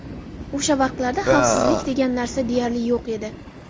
O‘sha vaqtlarda xavfsizlik degan narsa deyarli yo‘q edi.